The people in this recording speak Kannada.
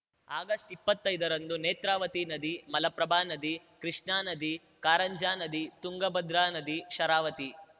ಆಗಸ್ಟ್ಇಪ್ಪತ್ತೈದರಂದು ನೇತ್ರಾವತಿ ನದಿ ಮಲಪ್ರಭಾ ನದಿ ಕೃಷ್ಣಾ ನದಿ ಕಾರಂಜಾ ನದಿ ತುಂಗಭದ್ರಾ ನದಿ ಶರಾವತಿ